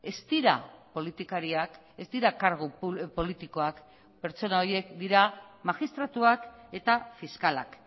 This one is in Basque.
ez dira politikariak ez dira kargu politikoak pertsona horiek dira magistratuak eta fiskalak